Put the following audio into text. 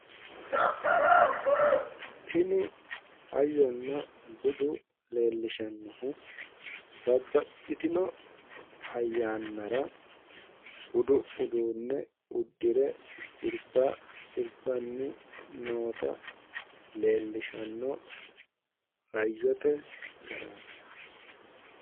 Tini hayyonna budu leelishanohu babbaxitino ayyannara budu uduunne udirre sirba sirbanni noota leelishanno hayyote garaati.